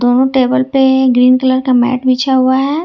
और टेबल पर green colour का मैट बिछा हुआ है।